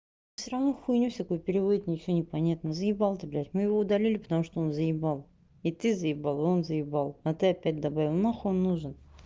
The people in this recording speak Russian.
всё равно хуйне всякой переводит ничего непонятно з ты б мы его удалили потому что он заебал и ты заебал он з а ты опять добавил на хуй он нужен